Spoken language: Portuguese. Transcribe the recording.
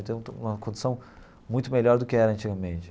Então, estou numa condição muito melhor do que era antigamente.